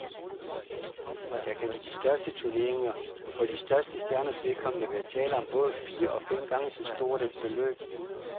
Der kan i de største turneringer for de største stjerners vedkommende være tale om både fire og fem gange så stort et beløb.